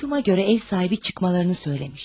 Eşitdiyimə görə ev sahibi çıxmalarını deyib.